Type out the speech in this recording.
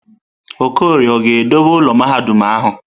Okorie ọ ga-edobe ụlọ mahadum ahụ?